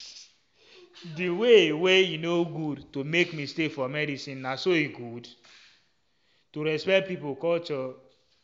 um the um way wey e no good to make mistake for medicinena so e good to respect pipo culture.